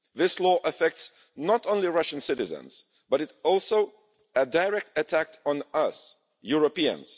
This law affects not only Russian citizens but is also a direct attack on us, Europeans.